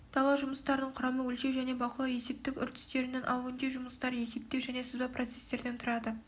дала жұмыстарының құрамы өлшеу және бақылау есептік үрдістерінен ал өңдеу жұмыстары есептеу және сызба процестерден тұрады